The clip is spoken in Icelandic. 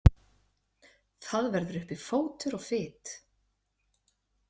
Það verður uppi fótur og fit.